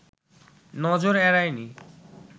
নজর এড়ায় নি